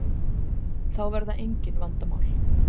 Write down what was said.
Þá verða engin vandamál.